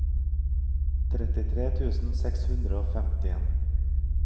trettitre tusen seks hundre og femtien